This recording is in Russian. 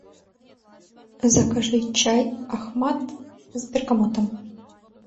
закажи чай ахмад с бергамотом